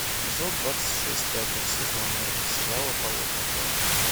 эпизод двадцать шесть пятого сезона сериала болотная тварь